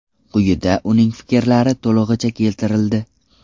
Quyida uning fikrlari to‘lig‘icha keltirildi.